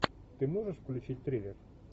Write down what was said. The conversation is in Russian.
ты можешь включить триллер